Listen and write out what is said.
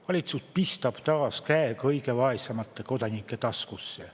Valitsus pistab taas käe kõige vaesemate kodanike taskusse.